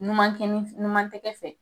Numan kɛ ni , Numan tɛgɛ fɛ.